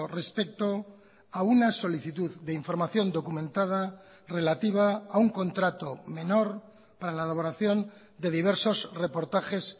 respecto a una solicitud de información documentada relativa a un contrato menor para la elaboración de diversos reportajes